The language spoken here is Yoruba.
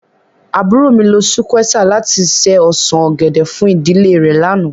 Àburó mi lo sukwéesà lati ṣe osan ogẹdẹ fun idile re làná